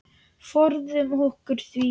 Forðum okkur því.